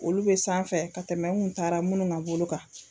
Olu be sanfɛ ka tɛmɛ n kun taara minnu ka bolo kan